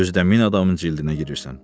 Özü də min adamın cildinə girirsən.